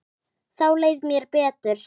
Þá leið mér betur.